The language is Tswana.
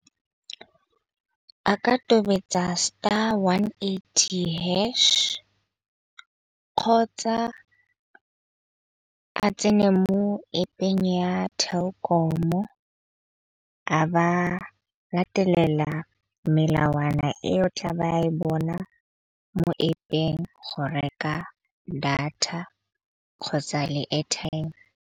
A ka tobetsa star one eighty hash, kgotsa a tsene mo-App-eng ya Telkom-o a ba latelela melawana e o tla ba e bona mo-App-eng go reka data kgotsa le airtime.